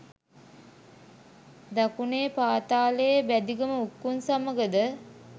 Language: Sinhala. දකුණේ පාතාලයේ බැදිගම උක්කුං සමගද